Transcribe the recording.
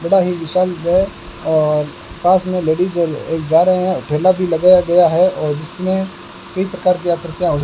बड़ा ही विशाल व और पास में लेडीज ज जा रही है ठेला भी लगाया गया है और जिसमें इत्र कारपीया कृपया होइ --